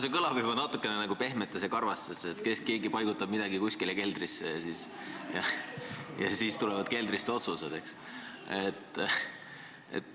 See kõlab juba natukene nagu "Pehmetes ja karvastes", et kas keegi paigutab midagi kuskile keldrisse ja siis tulevad keldrist otsused, eks ole.